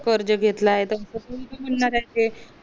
कर्ज घेतलाय त ते